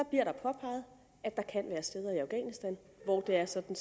bliver påpeget at der kan være steder i afghanistan hvor det er sådan